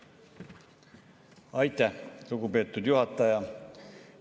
Aitäh, lugupeetud juhataja!